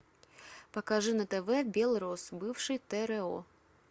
покажи на тв белрос бывший тро